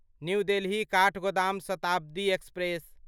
new Delhi Kathgodam Shatabdi express